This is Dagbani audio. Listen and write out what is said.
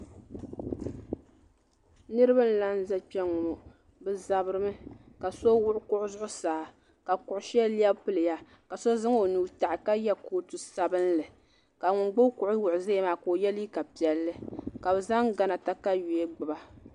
Niriba n laɣim za Kpenŋɔ bɛ zabirimi ka so wuɣi kuɣu zuɣusaa ka kuɣu sheli lebi piliya ka so zaŋ o nuu taɣi ka ye kootu sabinli ka ŋun gbibi kuɣu wuɣi zaya maa ka o ye liiga piɛlli ka bɛ zaŋ gana takawiya gbiba.